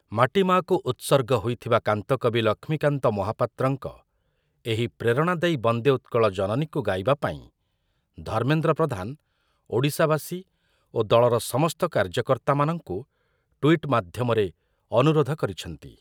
ମାଟିମାଆକୁ ଉତ୍ସର୍ଗ ହୋଇଥିବା କାନ୍ତକବି ଲକ୍ଷ୍ମୀକାନ୍ତ ମହାପାତ୍ରଙ୍କ ଏହି ପ୍ରେରଣାଦାୟୀ ବନ୍ଦେ ଉତ୍କଳ ଜନନୀକୁ ଗାଇବା ପାଇଁ ଧର୍ମେନ୍ଦ୍ର ପ୍ରଧାନ ଓଡ଼ିଶାବାସୀ ଓ ଦଳର ସମସ୍ତ କାର୍ଯ୍ୟକର୍ତ୍ତାମାନଙ୍କୁ ଟ୍ୱିଟ୍ ମାଧ୍ୟମରେ ଅନୁରୋଧ କରିଛନ୍ତି ।